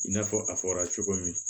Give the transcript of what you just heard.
I n'a fɔ a fɔra cogo min